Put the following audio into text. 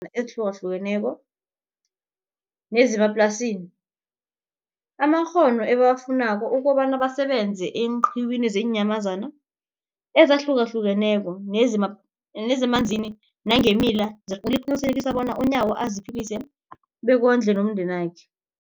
hlukeneko nezemanzini amakghono ebawafunako ukobana basebenze eenqiwini zeenyamazana ezihlukahlukeneko nezemanzini nangeemila, liqinisekisa bona uNyawo aziphilise bekondle nomndenakhe.